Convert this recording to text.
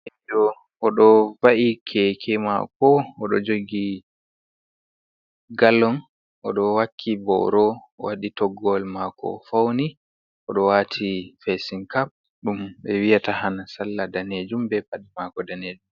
Do odo va’i keke mako, odo jogi gallong, odo wakki boro wadi toggowol mako fauni, odo wati fesin cap dum be wiyata han salla danejum, be padi mako danejum.